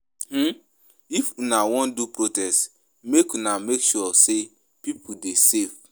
um If una wan do protest, make una make sure sey pipo dey safe.